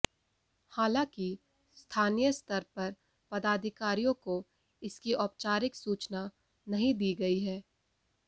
हालांकि स्थानीय स्तर पर पदाधिकारियों को इसकी औपचारिक सूचना नहीं दी गई है